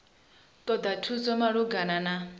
ṱoḓa thuso malugana na u